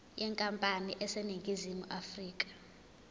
yenkampani eseningizimu afrika